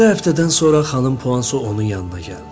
Altı həftədən sonra xanım Puansu onun yanına gəldi.